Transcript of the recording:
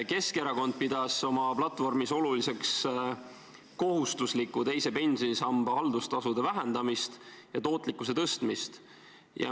Keskerakond pidas oma platvormis oluliseks kohustusliku teise pensionisamba haldustasude vähendamist ja tootlikkuse tõstmist.